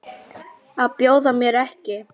Að bjóða mér ekki.